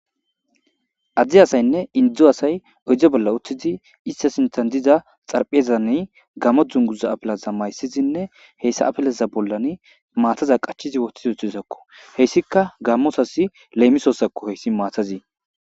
addi asaynne indzdzu asay oydze bolla utthizi issa sintan diza xarphiezane gammo dzunguza apilaza mayssizinne heyssa apeleza bollan maataza qachizi woththizi utthiisakko heyssika gammosasi leemisosakko heyssi maatazii